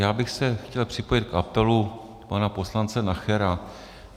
Já bych se chtěl připojit k apelu pana poslance Nachera.